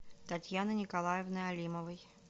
татьяны николаевны алимовой